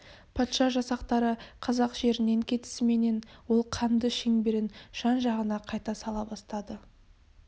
патша жасақтары қазақ жерінен кетісіменен ол қанды шеңберін жан-жағына қайта сала бастады